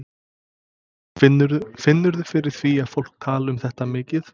Finnurðu fyrir því að fólk tali um þetta mikið?